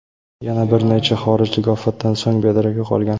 Yana bir necha xorijlik ofatdan so‘ng bedarak yo‘qolgan.